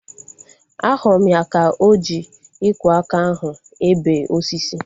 Ahụrụ m ya ka o ji ikwo aka ahu ebe osisi